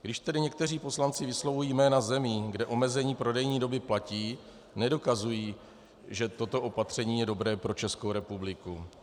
Když tedy někteří poslanci vyslovují jména zemí, kde omezení prodejní doby platí, nedokazují, že toto opatření je dobré pro Českou republiku.